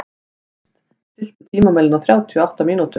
Ernst, stilltu tímamælinn á þrjátíu og átta mínútur.